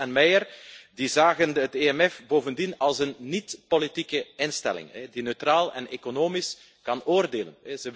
Gross en Meyer zagen het EMF bovendien als een niet-politieke instelling die neutraal en economisch kan oordelen.